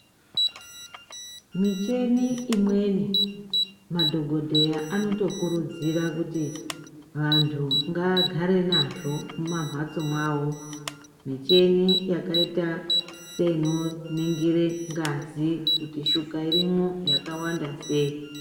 Michini imweni, madhokodhera anotokurudzira kuti vantu ngagare nazvo mumamhatso mwawo. Micheni yakayita seyinoningire ngazi, kuti shuga irimo yakawanda seyi.